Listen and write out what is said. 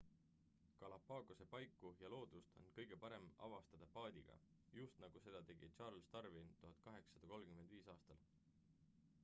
galapagose paiku ja loodust on kõige parem avastada paadiga just nagu seda tegi charles darwin 1835 aastal